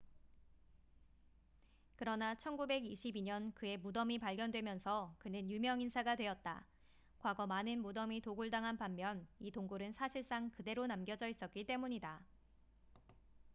그러나 1922년 그의 무덤이 발견되면서 그는 유명 인사가 되었다 과거 많은 무덤이 도굴당한 반면 이 동굴은 사실상 그대로 남겨져 있었기 때문이다